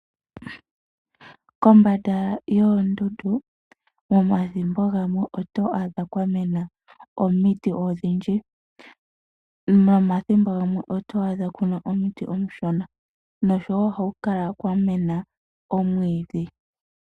Kombanda yoondundu thimbo limwe oto adha kwa mena omiti odhindji nomathimbo gamwe oto adha ku na omiti omishona, ohaku kala wo kwa mena omwiidhi.